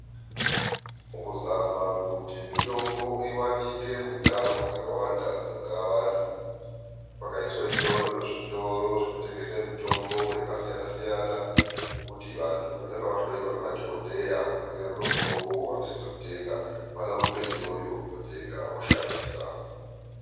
Mukuzama kuti mitombo iwanike mundau dzakawanda dzinogara vantu kwakaiswe iyoyo zvitoro zvinotengese mitombo yakasiyana siyana yekuti vantu vanenge vahloiwa ngemadhokodheya vakanyorerwe mutombowo vanisise kutenga vanorumbe iyoyo kotenga voshandisa.